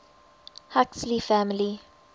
huxley family